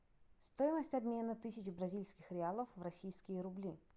стоимость обмена тысяча бразильских реалов в российские рубли